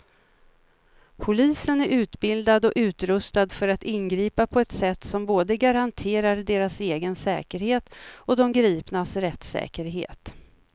Polisen är utbildad och utrustad för att ingripa på ett sätt som både garanterar deras egen säkerhet och de gripnas rättssäkerhet.